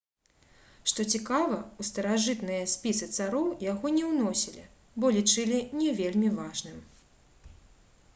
што цікава у старажытныя спісы цароў яго не ўносілі бо лічылі не вельмі важным